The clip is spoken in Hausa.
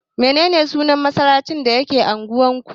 Mene ne sunan masallacin da ke unguwar ku?